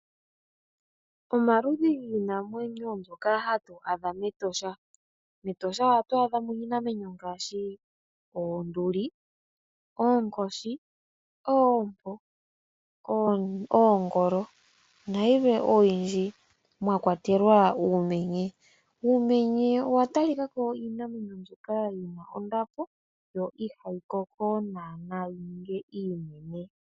Omaludhi giinamwenyo mbyoka hatu adha mEtosha. MEtosha ohatu adha mo iinamwenyo ngaashi oonduli, oonkoshi, oompo, oongolo nayilwe oyindji mwakwatelwa uumenye. Uumenye owa talika ko owo iinamwenyo mbyoka yi na ondapo yo ihayi koko naana yi ninge iinene.